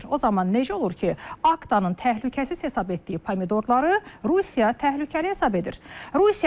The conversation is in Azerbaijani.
O zaman necə olur ki, Aktanın təhlükəsiz hesab etdiyi pomidorları Rusiya təhlükəli hesab edir.